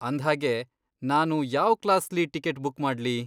ಅಂದ್ಹಾಗೆ, ನಾನು ಯಾವ್ ಕ್ಲಾಸ್ಲಿ ಟಿಕೆಟ್ ಬುಕ್ ಮಾಡ್ಲಿ?